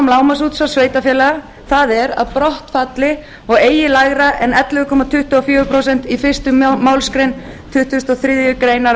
lágmarksútvars sveitarfélaga það er að brottfallið nái eigi lægra en ellefu komma tuttugu og fjögur prósent í fyrstu málsgrein tuttugustu og þriðju grein